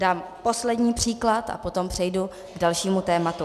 Dám poslední příklad a potom přejdu k dalšímu tématu.